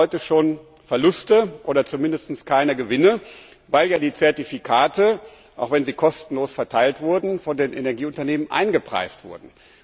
Sie machen heute schon Verluste oder zumindest keine Gewinne, weil die Zertifikate auch wenn sie kostenlos verteilt wurden von den Energieunternehmen eingepreist wurden.